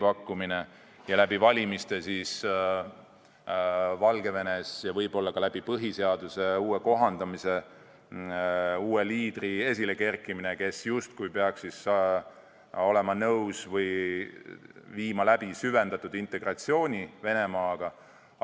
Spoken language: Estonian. Ja siis võiks läbi valimiste Valgevenes ja võib-olla ka põhiseaduse uuesti kohendamise toel esile kerkida uus liider, kes peaks olema nõus viima läbi süvendatud integratsiooni Venemaaga.